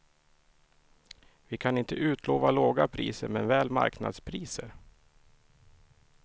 Vi kan inte utlova låga priser men väl marknadspriser.